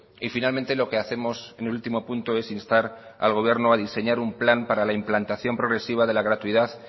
y finalmente lo que hacemos en el último punto es instar al gobierno a diseñar un plan para la implantación progresiva de la gratuidad